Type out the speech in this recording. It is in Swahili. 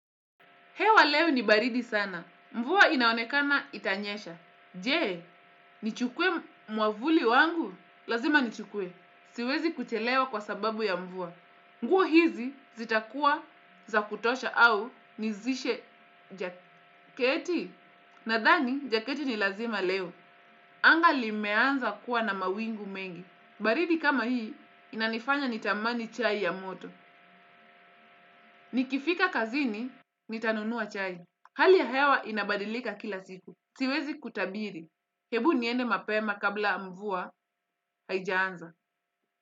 Hewa leo ni baridi sana. Mvua inaonekana itanyesha. Je, nichukue mwamvuli wangu? Lazima nichukue, siwezi kuchelewa kwa sababu ya mvua. Nguo hizi zitakuwa za kutosha au nizishe jaketi. Nadhani, jaketi ni lazima leo. Anga limeanza kuwa na mawingu mengi. Baridi kama hii, inanifanya nitamani chai ya moto. Nikifika kazini, nitanunua chai. Hali ya hewa inabadilika kila siku. Siwezi kutabiri, hebu niende mapema kabla mvua haijaanza.